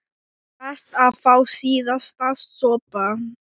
Best að fá síðasta sopann.